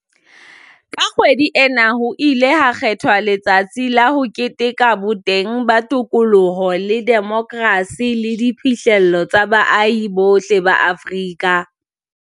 Ka kgwedi ena ho ile ha kgethwa letsatsi la ho keteka boteng ba tokoloho le demokrasi le diphihlello tsa baahi bohle ba Afrika